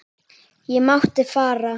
Ég mátti fara.